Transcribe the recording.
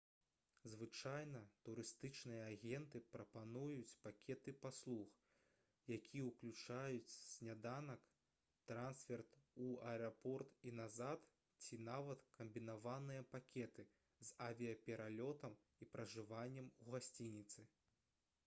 звычайна турыстычныя агенты прапануюць пакеты паслуг якія ўключаюць сняданак трансферт у аэрапорт і назад ці нават камбінаваныя пакеты з авіяпералётам і пражываннем у гасцініцы